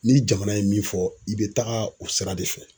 Ni jamana ye min fɔ, i be taga o sira de fɛ